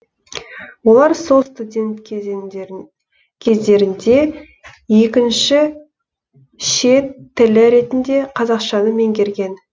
олар сол студент кездерінде екінші ші шет тілі ретінде қазақшаны меңгерген